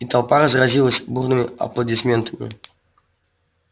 и толпа разразилась бурными аплодисментами